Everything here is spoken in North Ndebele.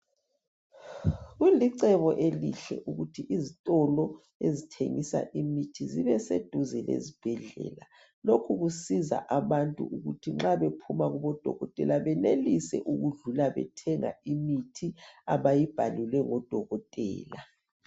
kulicebo elihle ukuthi izitolo ezithengisa imithi zibeseceleni kwezibhedlela lokhu kusiza abantu ukuba nxa bephuma kubodokotela benelise ukudlula bethenga imithi abayibhalelwe ngodokotela